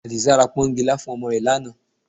Àdìsá ra pọ́nkilá fún ọmọ rẹ̀ ní àná